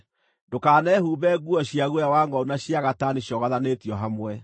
Ndũkanehumbe nguo cia guoya wa ngʼondu na cia gatani ciogothanĩtio hamwe.